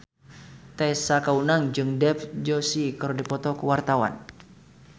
Tessa Kaunang jeung Dev Joshi keur dipoto ku wartawan